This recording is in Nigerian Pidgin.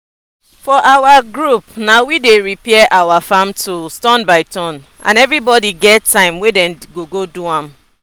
for our group na we dey repair our farm tools turn by turn and everybody get time wey dem go go do am.